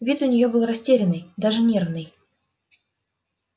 вид у неё был растерянный даже нервный